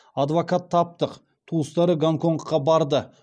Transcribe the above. адвокат таптық туыстары гонконгқа барды